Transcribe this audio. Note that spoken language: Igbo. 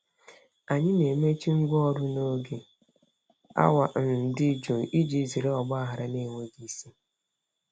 Anyị na-emechi ngwaọrụ n'oge awa um dị jụụ iji zere ọgba aghara na-enweghị isi.